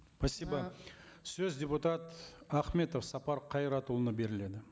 спасибо сөз депутат ахметов сапар қайратұлына беріледі